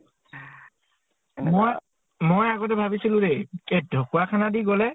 মই, মই আগতে ভাবিছিলো দেই এ ঢকোৱাখানা দি গʼলে